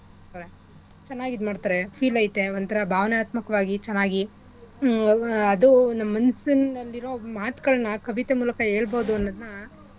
ಚೆನ್ನಾಗ್ ಇದ್ಮಾಡ್ತರೆ feel ಐತೆ ಒಂದ್ಥರಾ ಭಾವನಾತ್ಮಕವಾಗಿ ಚೆನ್ನಾಗಿ ಮ್ ಆಹ್ ಅದು ನಮ್ ಮನ್ಸಿನಲ್ಲಿರೊ ಮಾತ್ಗಳ್ನ ಕವಿತೆ ಮೂಲ್ಕ ಹೇಳ್ಬೋದು ಅನ್ನೋದ್ನ.